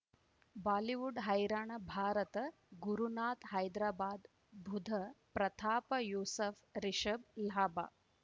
Bollywood ಹೈರಾಣ ಭಾರತ ಗುರುನಾಥ ಹೈದರಾಬಾದ್ ಬುಧ್ ಪ್ರತಾಪ್ ಯೂಸುಫ್ ರಿಷಬ್ ಲಾಭ